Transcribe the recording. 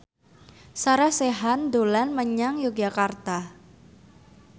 Sarah Sechan dolan menyang Yogyakarta